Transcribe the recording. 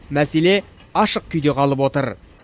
мәселе ашық күйде қалып отыр